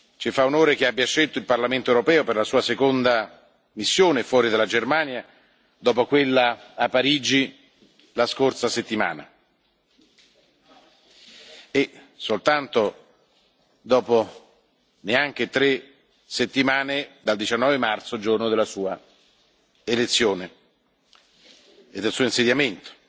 Ci fa onore che abbia scelto il Parlamento europeo per la Sua seconda missione fuori dalla Germania, dopo quella a Parigi la scorsa settimana e dopo neanche tre settimane dal 19 marzo, giorno del Suo insediamento.